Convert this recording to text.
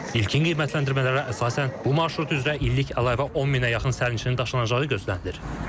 İlkin qiymətləndirmələrə əsasən bu marşrut üzrə illik əlavə 10 milyona yaxın sərnişinin daşınacağı gözlənilir.